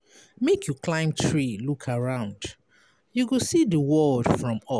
Make you climb tree look around, you go see di world from up.